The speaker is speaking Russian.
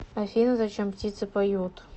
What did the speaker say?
афина зачем птицы поют